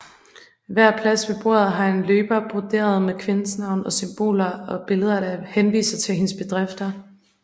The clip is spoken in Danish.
Hver plads ved bordet har en løber broderet med kvindens navn og symboler og billeder der henviser til hendes bedrifter